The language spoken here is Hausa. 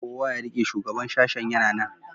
kowa ya rike shugaban sashen yana nan